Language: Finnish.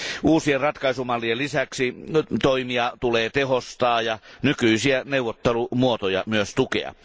Uusien ratkaisumallien lisäksi toimia tulee tehostaa ja nykyisiä neuvottelumuotoja myös tukea.